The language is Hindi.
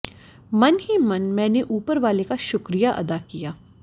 मन ही मन मैंने ऊपर वाले का शुक्रिया अदा किया